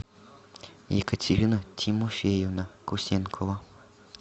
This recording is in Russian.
екатерина тимофеевна кусенкова